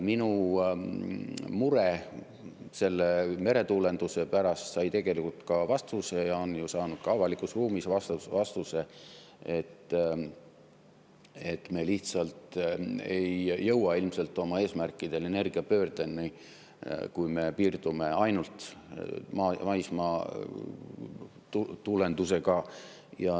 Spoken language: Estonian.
Minu mure meretuulenduse pärast sai tegelikult vastuse ja see on ju saanud ka avalikus ruumis vastuse, et me lihtsalt ei jõua ilmselt oma eesmärkideni, energiapöördeni, kui me piirdume ainult maismaatuulendusega.